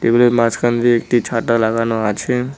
টেবিলের মাঝখান দিয়ে একটি ছাতা লাগানো আছে।